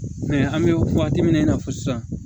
an bɛ waati min na i n'a fɔ sisan